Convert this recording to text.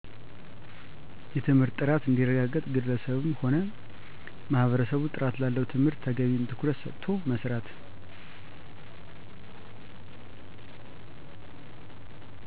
የትምህርት ጥራት እንዲረጋገጥ ግለሰብም ሆነ ማህበረሰቡጥራት ላለው ትምህርት ተገቢውን ትኩረት ሰጥቶ መሥራት